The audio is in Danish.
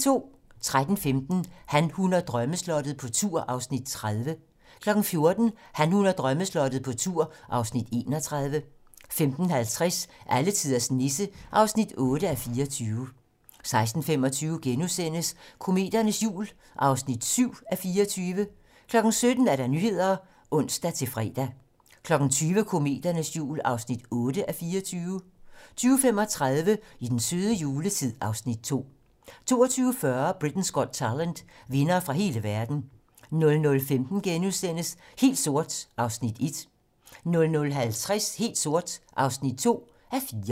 13:15: Han, hun og drømmeslottet - på tur (Afs. 30) 14:00: Han, hun og drømmeslottet - på tur (Afs. 31) 15:50: Alletiders Nisse (8:24) 16:25: Kometernes jul (7:24)* 17:00: Nyhederne (ons-fre) 20:00: Kometernes jul (8:24) 20:35: I den søde juletid (Afs. 2) 22:40: Britain's Got Talent - vindere fra hele verden 00:15: Helt sort (1:4)* 00:50: Helt sort (2:4)